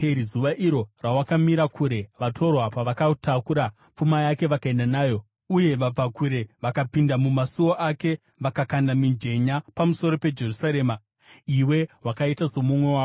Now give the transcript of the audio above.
Zuva iro rawakamira kure, vatorwa pavakatakura pfuma yake vakaenda nayo, uye vabvakure vakapinda mumasuo ake, vakakanda mijenya pamusoro peJerusarema, iwe wakaita somumwe wavo.